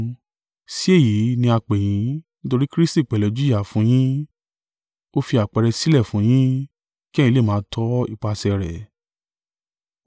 Sí èyí ni a pè yín: nítorí Kristi pẹ̀lú jìyà fún un yin, ó fi àpẹẹrẹ sílẹ̀ fún un yín, kí ẹ̀yin lè máa tọ ipasẹ̀ rẹ̀: